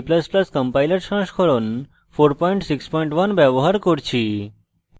gcc ও g ++ compiler সংস্করণ 461 ব্যবহার করছি